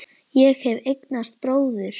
Ég hef eignast bróður.